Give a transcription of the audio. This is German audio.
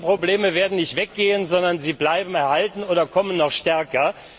Denn diese Probleme werden nicht weggehen, sondern sie bleiben erhalten oder kommen noch stärker.